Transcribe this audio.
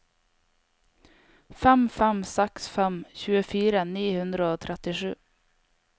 fem fem seks fem tjuefire ni hundre og trettisju